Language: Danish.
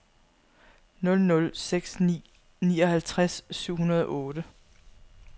nul nul seks ni nioghalvtreds syv hundrede og otte